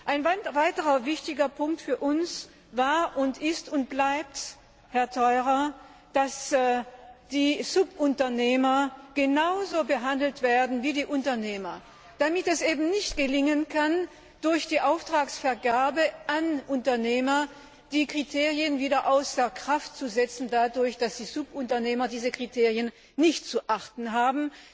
Ein weiterer wichtiger Punkt für uns war, ist und bleibt, dass die Subunternehmer genauso behandelt werden wie die Unternehmer damit es eben nicht gelingen kann, durch die Auftragsvergabe an Unternehmer die Kriterien wieder dadurch außer Kraft zu setzen, dass die Subunternehmer diese Kriterien nicht zu beachten haben.